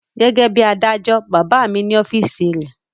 Gẹ́gẹ́ bí i adájọ́, bàbá mi ní ọ́fíísì rẹ̀.